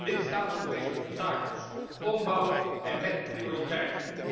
Lidstaten moeten deze obstakels ombouwen, en met prioriteit.